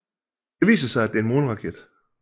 Det viser sig at det er en måneraket